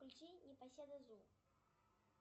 включи непоседа зу